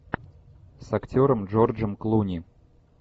с актером джорджем клуни